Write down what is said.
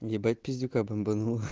ебать пиздюка бомбануло